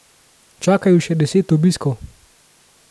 Čaka ju še deset obiskov.